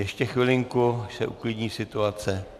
Ještě chvilinku, až se uklidní situace.